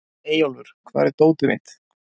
Eyjólfur, hvar er dótið mitt?